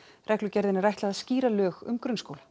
reglugerðinni er ætlað að skýra lög um grunnskóla